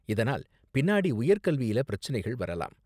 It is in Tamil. இதனால் பின்னாடி உயர்கல்வியில பிரச்சனைகள் வரலாம்.